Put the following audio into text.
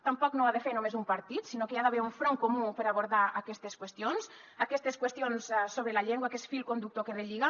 tampoc no ho ha de fer només un partit sinó que hi ha d’haver un front comú per abordar aquestes qüestions aquestes qüestions sobre la llengua que és fil conductor que relliga